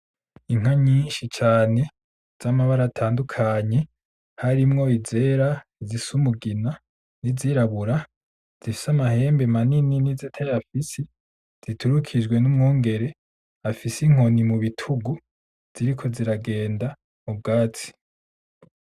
Inka nyinshi cane z'amabara atandukanye harimwo izera, izisa umugina, izirabura, zifise amahembe manini n'izitayafise. Ziturukijwe n'umwungere afise inkoni mu bitugu, ziriko ziragenda mu bwatsi.